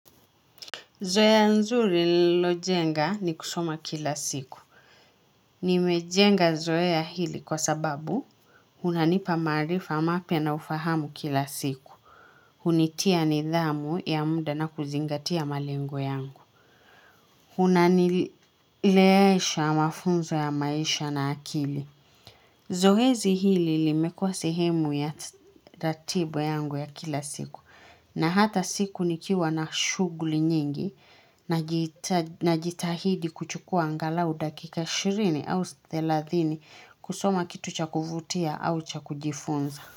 Zoea nzuri nililojenga ni kusoma kila siku. Nimejenga zoea hili kwa sababu unanipa maarifa mapya na ufahamu kila siku. Hunitia nidhamu ya muda na kuzingatia malengo yangu. Unanilelewesha mafunzo ya maisha na akili. Zoezi hili limekuwa sehemu ya ratiba yangu ya kila siku. Na hata siku nikiwa na shughuli nyingi na jitahidi kuchukua angalau dakika 20 au 30 kusoma kitu cha kuvutia au cha kujifunza.